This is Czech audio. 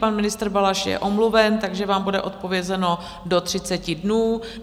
Pan ministr Balaš je omluven, takže vám bude odpovězeno do 30 dnů.